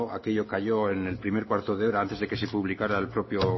aquello cayó en el primer cuarto de hora antes de que se publicara el propio